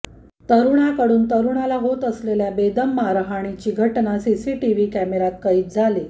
तरूणाकडून तरूणाला होत असलेल्या बेदम मारहाणीची घटना सीसीटीव्ही कॅमेरॅत कैद झाली